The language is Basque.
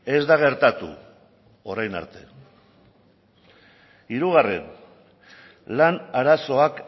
ez da gertatu orain arte hirugarren lan arazoak